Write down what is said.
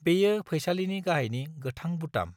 बेयो फैसालिनि गाहाइनि गोथां बुटाम।